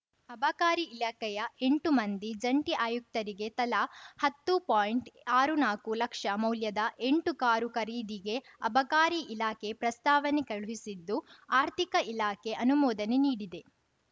ಅಬಕಾರಿ ಇಲಾಖೆಯ ಎಂಟು ಮಂದಿ ಜಂಟಿ ಆಯುಕ್ತರಿಗೆ ತಲಾ ಹತ್ತು ಪಾಯಿಂಟ್ಆರು ನಾಕು ಲಕ್ಷ ಮೌಲ್ಯದ ಎಂಟು ಕಾರು ಖರೀದಿಗೆ ಅಬಕಾರಿ ಇಲಾಖೆ ಪ್ರಸ್ತಾವನೆ ಕಳುಹಿಸಿದ್ದು ಆರ್ಥಿಕ ಇಲಾಖೆ ಅನುಮೋದನೆ ನೀಡಿದೆ